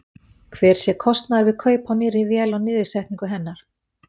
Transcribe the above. Hver sé kostnaður við kaup á nýrri vél og niðursetningu hennar?